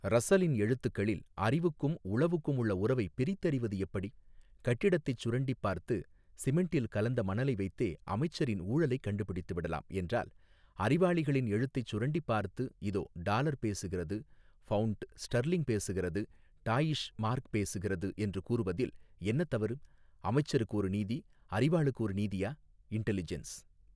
ரஸ்ஸலின் எழுத்துக்களில் அறிவுக்கும் உளவுக்கும் உள்ள உறவைப் பிரித்தறிவது எப்படி கட்டிடத்தைச் சுரண்டிப் பார்த்து சிமெண்டில் கலந்த மணலை வைத்தே அமைச்சரின் ஊழலைக் கண்டுபிடித்து விடலாம் என்றால் அறிவாளிகளின் எழுத்தைச் சுரண்டிப் பார்த்து இதோ டாலர் பேசுகிறது பவுண்டு ஸ்டர்லிங் பேசுகிறது டாயிஷ் மார்க் பேசுகிறது என்று கூறுவதில் என்ன தவறு அமைச்சருக்கு ஒரு நீதி அறிவாளுக்கு ஒரு நீதியா இன்டெலிஜென்ஸ்.